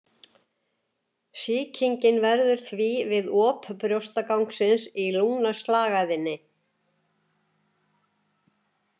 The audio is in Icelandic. Sýkingin verður því við op brjóstgangsins í lungnaslagæðinni.